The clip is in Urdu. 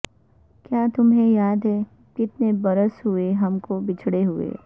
کیا تمھیں یاد ھے کتنے برس ھوئے ھم کو بچھڑے ھوئے